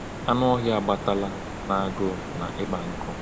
Anụ ọhịa agbatala n’agụụ na ịkpa nkụ.